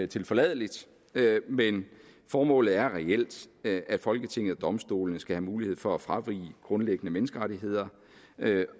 tilforladeligt men formålet er reelt at folketinget og domstolene skal have mulighed for at fravige grundlæggende menneskerettigheder